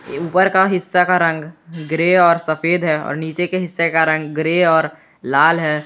ऊपर का हिस्सा का रंग ग्रे और सफेद है और नीचे के हिस्से का रंग ग्रे और लाल है।